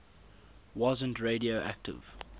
wasn t radioactive